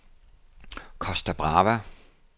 Costa Brava